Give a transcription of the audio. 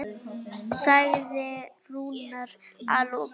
sagði Rúnar að lokum.